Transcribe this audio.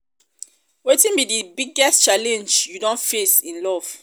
wetin be di biggest challenge you don face in love?